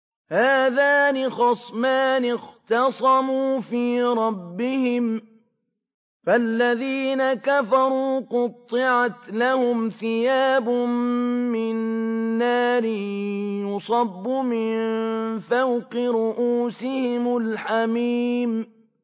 ۞ هَٰذَانِ خَصْمَانِ اخْتَصَمُوا فِي رَبِّهِمْ ۖ فَالَّذِينَ كَفَرُوا قُطِّعَتْ لَهُمْ ثِيَابٌ مِّن نَّارٍ يُصَبُّ مِن فَوْقِ رُءُوسِهِمُ الْحَمِيمُ